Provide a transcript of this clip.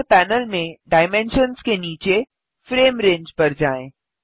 render panel में dimensions के नीचे फ्रेम रंगे पर जाएँ